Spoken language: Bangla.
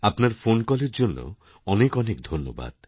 আপনার ফোন কলের জন্য অনেকঅনেক ধন্যবাদ